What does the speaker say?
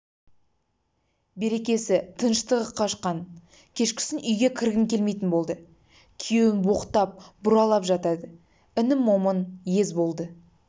берекесі тыныштығы қашты кешкісін үйге кіргім келмейтін болды күйеуін боқтап-бұралап жатады інім момын ез болды